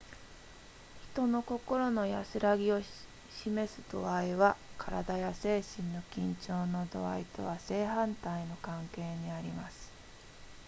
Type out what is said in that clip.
人の心の安らぎを示す度合いは身体や精神の緊張の度合いとは正反対の関係にあります